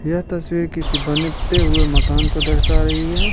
यह तस्वीर किसी बनते हुए मकान को दर्शा रही है।